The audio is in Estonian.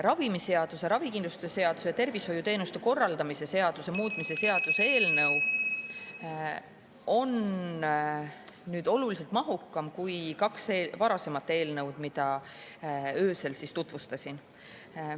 Ravimiseaduse, ravikindlustuse seaduse ja tervishoiuteenuste korraldamise seaduse muutmise seaduse eelnõu on oluliselt mahukam kui kaks eelmist eelnõu, mida ma öösel tutvustasin.